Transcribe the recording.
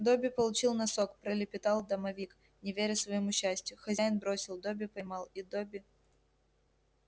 добби получил носок пролепетал домовик не веря своему счастью хозяин бросил добби поймал и добби